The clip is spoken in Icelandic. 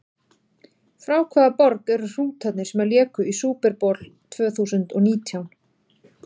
Frá hvaða borg eru Hrútarnir sem léku í Super Bowl tvö þúsund og nítján?